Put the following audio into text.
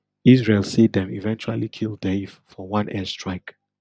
israel say dem eventually kill deif for one air strike